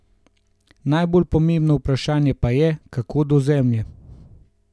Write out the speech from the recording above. Najbolj pomembno vprašanje pa je, kako do zemlje.